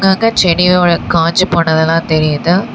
அங்க செடியோட காஞ்சு போனதெல்லா தெரியிது.